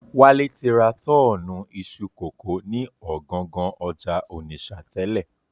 Wálé ti ra tọ́ọ̀nù iṣu kókò ni ọ̀gangan ọjà Ònìṣà tẹ́lẹ̀